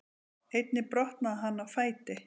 Einnig brotnaði hann á fæti